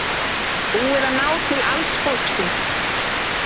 Búið að ná til alls fólksins